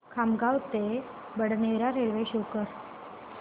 खामगाव ते Badnera railway show कर